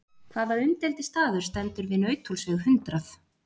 Hvaða umdeildi staður stendur við Nauthólsveg hundrað?